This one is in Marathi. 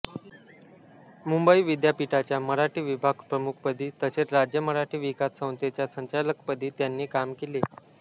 मुंबई विद्यापीठाच्या मराठी विभागप्रमुखपदी तसेच राज्य मराठी विकास संस्थेच्या संचालकपदी त्यांनी काम केले